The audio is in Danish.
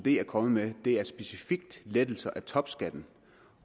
er kommet med specifikt lettelser af topskatten